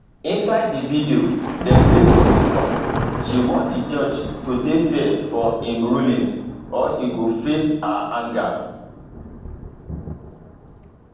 inside di video dem play for di court she warn di judge to dey fair for im rulings or e go face her anger